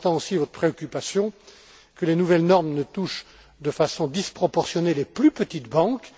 J'entends aussi votre préoccupation que les nouvelles normes ne touchent de façon disproportionnée les plus petites banques.